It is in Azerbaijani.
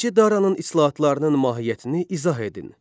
Birinci Daranın islahatlarının mahiyyətini izah edin.